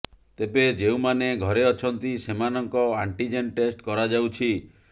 ତେବେ ଯେଉଁମାନେ ଘରେ ଅଛନ୍ତି ସେମାନଙ୍କ ଆଣ୍ଟିଜେନ ଟେଷ୍ଟ କରାଯାଉଛି